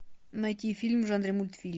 найти фильм в жанре мультфильм